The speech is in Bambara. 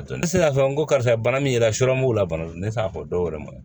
Ne sera k'a fɔ n ko karisa bana min yera mugu la bana do ne t'a fɔ dɔwɛrɛ ma